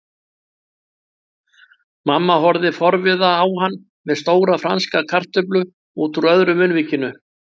Mamma horfði forviða á hann með stóra franska kartöflu útúr öðru munnvikinu.